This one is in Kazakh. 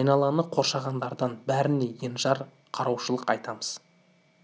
айналаны қоршағандардың бәріне енжар караушылықты атаймыз